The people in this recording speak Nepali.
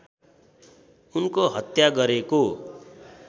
उनको हत्या गरेको